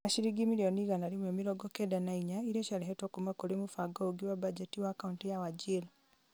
na ciringi mirioni igana rĩmwe mĩrongo kenda na inya iria ciarehetwo kuuma kũrĩ mũbango ũngĩ wa bajeti wa kauntĩ ya Wajir ,